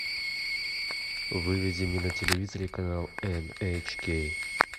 выведи мне на телевизоре канал эн эйч кей